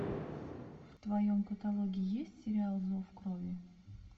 в твоем каталоге есть сериал зов крови